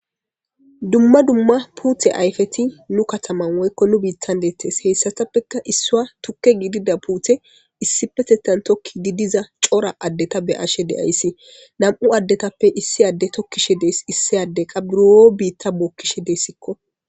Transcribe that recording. Duma duma katha ayipeti nu kataman woyiko nu bitan de'etes isswa tuke gidida pute tokizi diza coora adeta be'ayshe de'ays na'mu adetape issi adey tokishe de'es issi adey qa buro bita bokishe de'esko